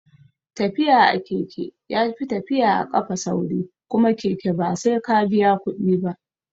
Tafiya a keke yafi tafiya a kafa sauri kuma keke ba sai ka biya kuɗi ba